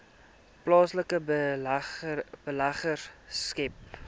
plaaslike beleggers skep